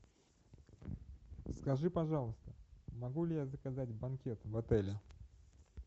скажи пожалуйста могу ли я заказать банкет в отеле